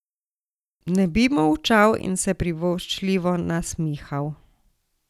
Ne bi molčal in se privoščljivo nasmihal.